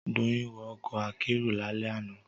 Doyin wọ ọkọ̀ akérò lálẹ́ àná